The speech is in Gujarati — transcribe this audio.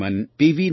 શ્રીમાન પી